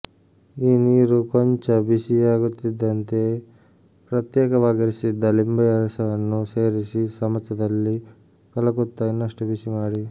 ಈ ನೀರು ಕೊಂಚ ಬಿಸಿಯಾಗುತ್ತಿದ್ದಂತೆಯೇ ಪ್ರತ್ಯೇಕವಾಗಿರಿಸಿದ್ದ ಲಿಂಬೆರಸವನ್ನು ಸೇರಿಸಿ ಚಮಚದಲ್ಲಿ ಕಲಕುತ್ತಾ ಇನ್ನಷ್ಟು ಬಿಸಿಮಾಡಿ